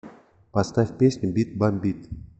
поставь песню бит бомбит